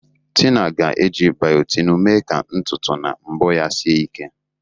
Tina ga-eji Biotinu mee ka ntutu na mbọ ya sie ike.